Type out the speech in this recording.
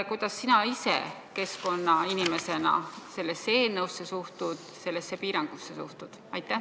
Kuidas sina ise keskkonnainimesena sellesse eelnõusse ja sellesse piirangusse suhtud?